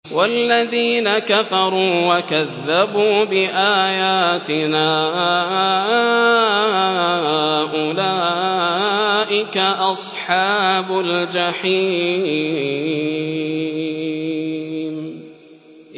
وَالَّذِينَ كَفَرُوا وَكَذَّبُوا بِآيَاتِنَا أُولَٰئِكَ أَصْحَابُ الْجَحِيمِ